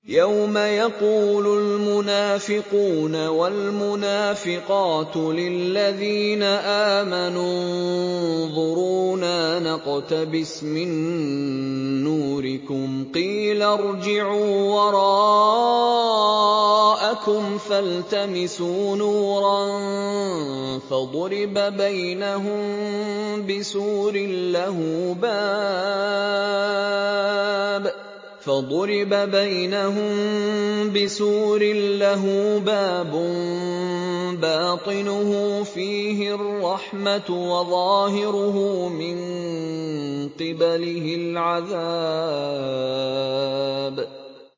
يَوْمَ يَقُولُ الْمُنَافِقُونَ وَالْمُنَافِقَاتُ لِلَّذِينَ آمَنُوا انظُرُونَا نَقْتَبِسْ مِن نُّورِكُمْ قِيلَ ارْجِعُوا وَرَاءَكُمْ فَالْتَمِسُوا نُورًا فَضُرِبَ بَيْنَهُم بِسُورٍ لَّهُ بَابٌ بَاطِنُهُ فِيهِ الرَّحْمَةُ وَظَاهِرُهُ مِن قِبَلِهِ الْعَذَابُ